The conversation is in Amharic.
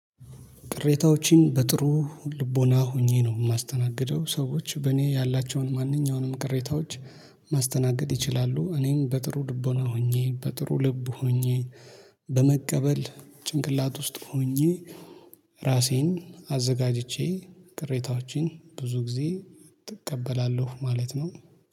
ቅሬታዎችን በጥሩ ልቦና ሆኜ ነው የማስተናግደው ሰዎች በእኔ ያላቸውን ማንኛውንም ቅሬታዎች ማስተናገድ ይችላሉ። እኔም በጥሩ ልቦና ሆኜ በጥሩ ልብ ሆኜ በመቀበል ጭንቅላት ውስጥ ሆኜ። ራሴን አዘጋጅቼ ቅሬታዎቼን ብዙ ጊዜ እቀበላለሁ ማለት ነው